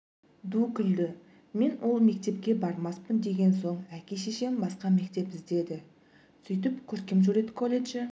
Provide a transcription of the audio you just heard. ду күлді мен ол мектепке бармаспын деген соң әке-шешем басқа мектеп іздеді сөйтіп көркемсурет колледжі